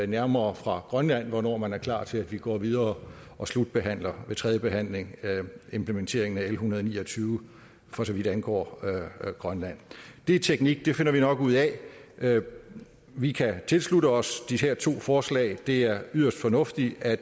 nærmere fra grønland hvornår man er klar til at vi går videre og slutbehandler tredjebehandler implementeringen af l en hundrede og ni og tyve for så vidt angår grønland det er teknik det finder vi nok ud af vi kan tilslutte os de her to forslag det er yderst fornuftigt at